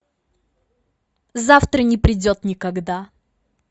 завтра не придет никогда